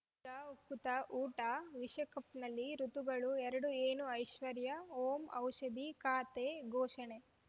ಈಗ ಉಕುತ ಊಟ ವಿಶ್ವಕಪ್‌ನಲ್ಲಿ ಋತುಗಳು ಎರಡು ಏನು ಐಶ್ವರ್ಯಾ ಓಂ ಔಷಧಿ ಖಾತೆ ಘೋಷಣೆ